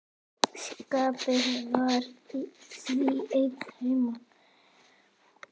Skapti var því einn heima.